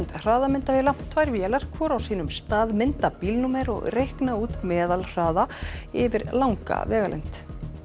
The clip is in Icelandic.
hraðamyndavéla tvær vélar hvor á sínum stað mynda bílnúmer og reikna út meðalhraða yfir langa vegalengd